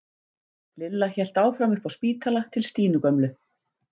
Lilla hélt áfram upp á spítala til Stínu gömlu.